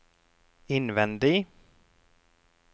innvendig